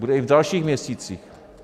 Bude i v dalších měsících.